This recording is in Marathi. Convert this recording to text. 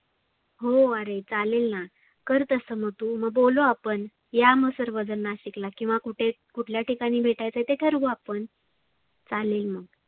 हो आरे चालेलना. कर तसं मग तु मग बोलु आपण. या मग सर्वजन नाशिकला किंवा कुठे, कुठल्या ठिकाणी भेटायच ते ठरवू आपण चालेल मग.